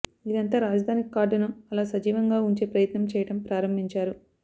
ఇదంతా రాజధాని కార్డ్ ను అలా సజీవంగా వుంచే ప్రయత్నం చేయడం ప్రారంభించారు